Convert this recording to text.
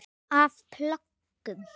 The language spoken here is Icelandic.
Af plöggum